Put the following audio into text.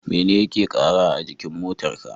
Mene yake kara a jikin motar ka?